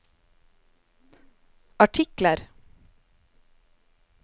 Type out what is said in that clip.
artikler